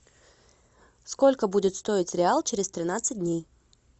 сколько будет стоить реал через тринадцать дней